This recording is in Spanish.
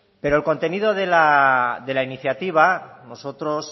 pero el contenido de la iniciativa nosotros